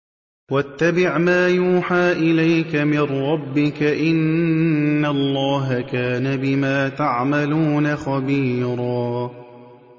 وَاتَّبِعْ مَا يُوحَىٰ إِلَيْكَ مِن رَّبِّكَ ۚ إِنَّ اللَّهَ كَانَ بِمَا تَعْمَلُونَ خَبِيرًا